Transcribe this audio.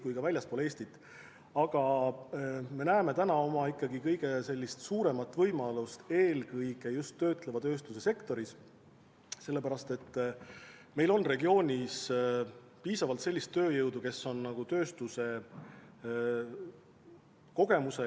Praegu me näeme ikkagi kõige suuremat võimalust eelkõige just töötleva tööstuse sektoris, sellepärast et meil on regioonis piisavalt sellist tööjõudu, kellel on tööstuse kogemused.